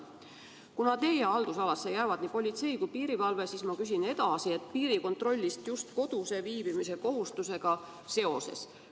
Kuna teie haldusalasse jäävad nii politsei kui piirivalve, siis ma küsin edasi piirikontrolli kohta just kodus viibimise kohustusega seoses.